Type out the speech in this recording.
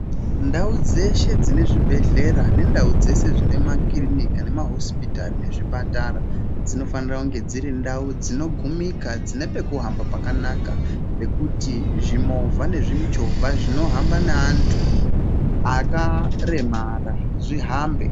Ndau dzeshe dzinezvibhehlera nendau dzese dzine makirinika nemahispitari nezvipatara dzinofanira kunge dziri ndau dzinogumika dzine pekuhamba pakanaka, pekuti zvimovha nemichovha zvinohamba neantu akaremara zvihambe.